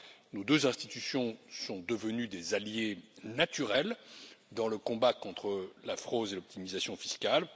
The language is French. Nos deux institutions sont devenues des alliés naturels dans le combat contre la fraude et l'optimisation fiscale.